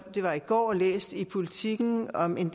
det var i går læst i politiken om en